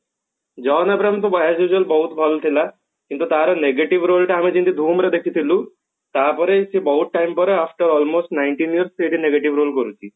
John Abraham କିନ୍ତୁ as usual ବହୁତ ଭଲ ଥିଲା କିନ୍ତୁ ତାର negative role ଟା ଯେମତି ଆମେ dhoom ରେ ଦେଖିଥିଲୁ ତା ପରେ ସେ ବହୁତ ଟାଇମ ପରେ after almost nineteen years ସେ ବି negative role କରୁଛି